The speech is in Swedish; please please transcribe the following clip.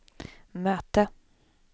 möte